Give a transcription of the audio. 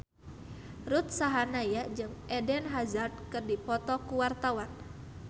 Ruth Sahanaya jeung Eden Hazard keur dipoto ku wartawan